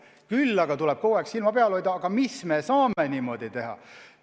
Küll aga tuleb kogu aeg silma peal hoida, mida me saame niimoodi teha.